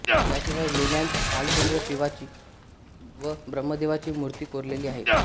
याशिवाय लेण्यांत भालचंद्र शिवाची व ब्रम्हदेवाची मूर्ती कोरलेली आहे